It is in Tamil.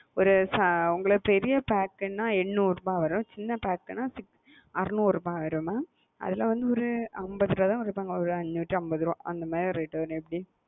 ஒரு உங்களுக்கு பெரிய pack னா எண்ணூறு ரூபா வரும். சின்ன pack னா அறநூறு ரூபா வரும் மா. அதுல வந்து ஒரு அம்பது ரூபாதான் குறப்பாங்க ஒரு அஞ்சூட்டி அம்பது ரூபா அந்த மாறி ஒரு rate வரும் சேச்சி.